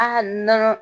A ka nɔnɔ